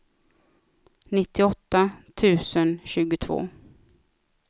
nittioåtta tusen tjugotvå